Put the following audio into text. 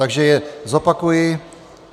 Takže je zopakuji.